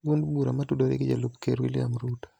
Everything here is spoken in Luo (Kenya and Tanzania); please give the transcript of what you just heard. duond bura motudore gi Jalup Ker William Ruto.